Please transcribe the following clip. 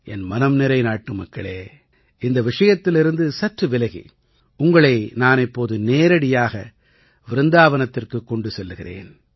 என் மனம்நிறை நாட்டுமக்களே இந்த விஷயத்திலிருந்து சற்று விலகி உங்களை நான் இப்போது நேரடியாக விருந்தாவனத்திற்குக் கொண்டு செல்கிறேன்